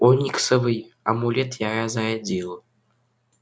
ониксовый амулет я разрядил